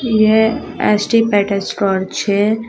यह S T Peter's torch है।